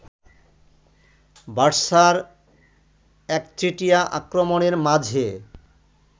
বার্সার একচেটিয়া আক্রমণের মাঝে